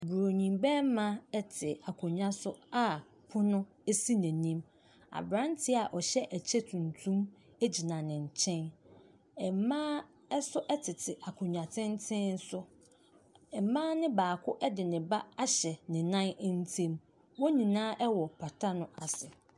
Buronin barima te aconnwa so a pono si n'anim. Aberanteɛ a ɔhyɛ ɛkyɛ tuntum gyina ne nkyɛn. Mmaa nso tete akonnwa tenten so. Mmaa no baako de ne ba ahyɛ ne nan ntam. Wɔn nyinaa wɔ pata no ase.